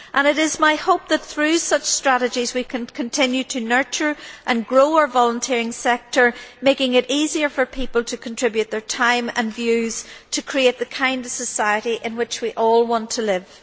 It is my hope that through such strategies we can continue to nurture and grow our volunteering sector, making it easier for people to contribute their time and views to create the kind of society in which we all want to live.